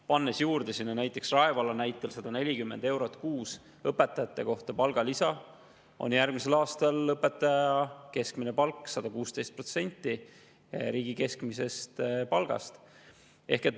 Pannes sinna nagu näiteks Rae vallas juurde palgalisa 140 eurot kuus õpetaja kohta, on järgmisel aastal õpetaja keskmine palk 116% riigi keskmisest palgast.